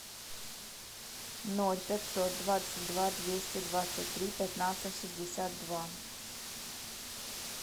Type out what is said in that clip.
ноль пятьсот двадцать два двести двадцать три пятнадцать шестьдесят два